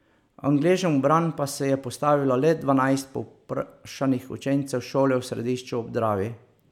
Angležem v bran pa se je postavilo le dvanajst povprašanih učencev šole v Središču ob Dravi.